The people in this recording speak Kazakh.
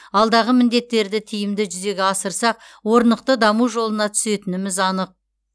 алдағы міндеттерді тиімді жүзеге асырсақ орнықты даму жолына түсетініміз анық